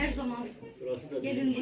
Hər zaman.